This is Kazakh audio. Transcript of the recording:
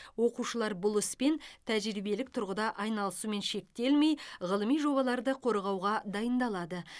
оқушылар бұл іспен тәжірибелік тұрғыда айналысумен шектелмей ғылыми жобаларды қорғауға дайындалады